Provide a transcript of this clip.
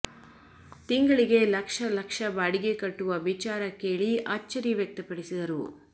ತಿಂಗಳಿಗೆ ಲಕ್ಷ ಲಕ್ಷ ಬಾಡಿಗೆ ಕಟ್ಟುವ ವಿಚಾರ ಕೇಳಿ ಅಚ್ಚರಿ ವ್ಯಕ್ತಪಡಿಸಿದರು